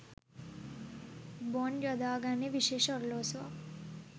Bond යොදාගන්නේ විශේෂ ඔරලෝසුවක්.